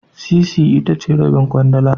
Sisi itace Rabin kwandala